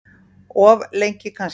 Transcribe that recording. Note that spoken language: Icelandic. Of lengi kannski.